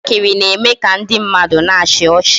Njakịrị na-eme ka ndị mmadụ na-achị ọchị